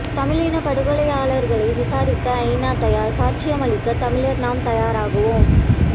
தமிழினப் படுகொலையாளர்களை விசாரிக்க ஐநா தயார் சாட்சியமளிக்க தமிழர் நாம் தயாராகுவோம்